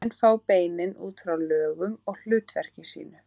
Nöfnin fá beinin út frá lögun og hlutverki sínu.